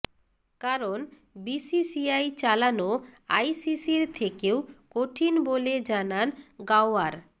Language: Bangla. কারণ বিসিসিআই চালানো আইসিসির থেকেও কঠিন বলে জানান গাওয়ার